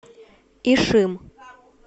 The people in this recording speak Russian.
ишим